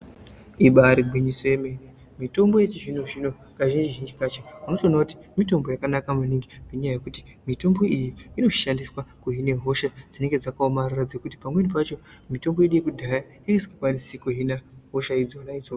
Ibarigwinyiso yemwene mitombo yechizvino-zvino, kazhinji-zhinji kacho. Vanotoona kuti mitombo yakanaka maningi ngenyaya yekuti mitombo iyi inoshandiswa kuhine hosha dzinenge dzakaomarara dzekuti pamweni pacho mitombo yedu yekudhaya inenge isikakwanisi kuhina hosha idzodzo.